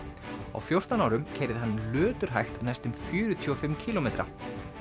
á fjórtán árum keyrði hann næstum fjörutíu og fimm kílómetra